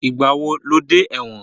Ìgbà wo lo dé ẹ̀wọ̀n?